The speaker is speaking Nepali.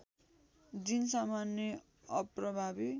जिन सामान्य अप्रभावी